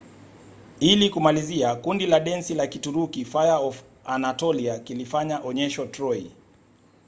ili kumalizia kundi la densi la kituruki fire of anatolia kilifanya onyesho troy